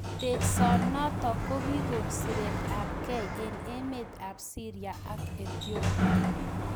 Teksoo notok kokikoon siret ap kei eng emeet ap siria ak Ethiopia